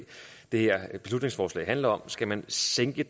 det her beslutningsforslag handler om skal man sænke